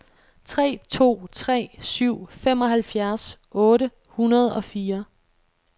tre to tre syv femoghalvfjerds otte hundrede og fire